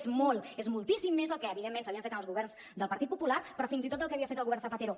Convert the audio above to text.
és molt és moltíssim més del que evidentment s’havia fet en els governs del partit popular però fins i tot del que havia fet el govern zapatero